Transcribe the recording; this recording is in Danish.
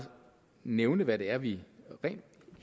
nævne hvad det er vi